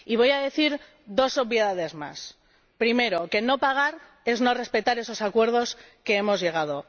Y voy a decir dos obviedades más en primer lugar, que no pagar es no respetar esos acuerdos a los que hemos llegado.